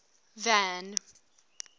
van